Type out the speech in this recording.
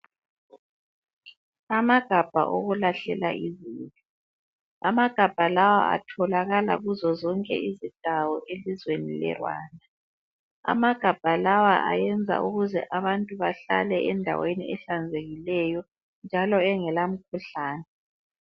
Amagabha okulahlela izibi. Amagabha lawa atholakala kuzozonke izindawo elizweni leRwanda. Amagabha lawa ayenza ukuze abantu bahlale endaweni ehlanzekileyo, njalo engelamkhuhlane.